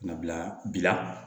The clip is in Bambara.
Nabila bi la